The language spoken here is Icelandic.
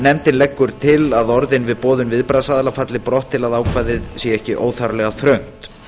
nefndin leggur til að orðin við boðun viðbragðsaðila falli brott til að ákvæðið sé ekki óþarflega þröngt